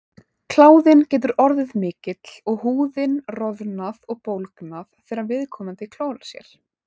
Kláðinn getur orðið mikill og húðin roðnað og bólgnað þegar viðkomandi klórar sér.